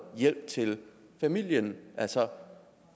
hjælp til familien altså